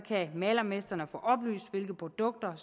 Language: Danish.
kan malermestrene få oplyst hvilke produkter